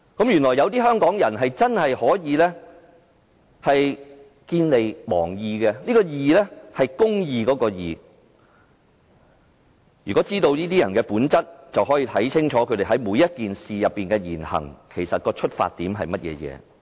原來有些香港人真的會見利忘義，是公義的"義"。只要知道這些人的本質，便不難看出他們就每件事所作的言行的出發點是甚麼。